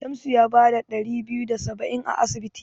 Shamsu ya bada ɗari biyu da saba'in a asibiti.